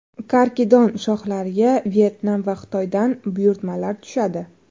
Karkidon shoxlariga Vyetnam va Xitoydan buyurtmalar tushadi.